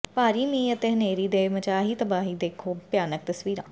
ਭਾਰੀ ਮੀਂਹ ਅਤੇ ਹਨੇਰੀ ਨੇ ਮਚਾਹੀ ਤਬਾਹੀ ਦੇਖੋ ਭਿਆਨਕ ਤਸਵੀਰਾਂ